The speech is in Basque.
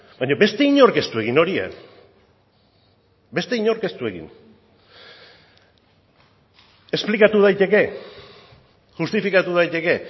baina beste inork ez du egin hori beste inork ez du egin esplikatu daiteke justifikatu daiteke